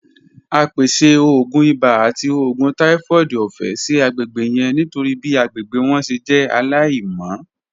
A pese oogun ibà ati oògùn typhoid ọfẹ si agbegbe yẹn nitori bi agbegbe wọn ṣe jẹ alaimọ.